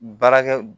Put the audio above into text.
Baarakɛ